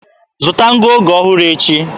Zụta ngụoge ọhụrụ echi.